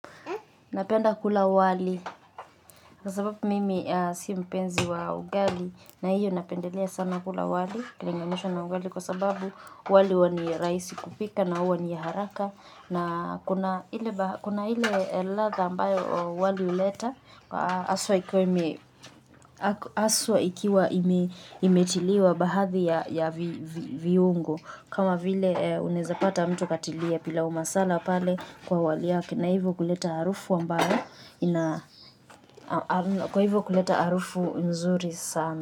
Napenda kula wali kwa sababu mimi si mpenzi wa ugali na hiyo napendelea sana kula wali ukilinganisha na ugali kwa sababu wali huwa ni rahisi kupika na huwa ni ya haraka na kuna ile kuna ile ladha ambayo wali huleta haswa ikiwa imetiliwa bahadhi ya viungo. Kama vile unaezapata mtu katilia pilaumasala pale kwa wali yake na hivo kuleta harufu ambayo hivyo kuleta arufu nzuri sana.